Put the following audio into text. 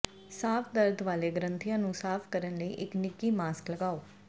ਸਾਫ ਦਰਦ ਵਾਲੇ ਗ੍ਰੰਥੀਆਂ ਨੂੰ ਸਾਫ ਕਰਨ ਲਈ ਇੱਕ ਨਿੱਘੀ ਮਾਸਕ ਲਗਾਓ